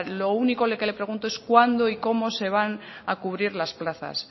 lo único que le pregunto es cuándo y cómo se van a cubrir las plazas